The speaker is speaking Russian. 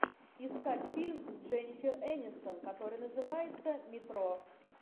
искать фильм с дженнифер энистон который называется метро